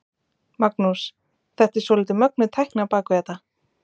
Magnús: Þetta er svolítið mögnuð tækni á bak við þetta?